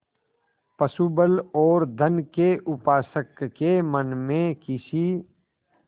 पशुबल और धन के उपासक के मन में किसी